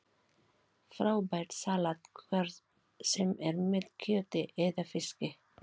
Frábært salat hvort sem er með kjöti eða fiski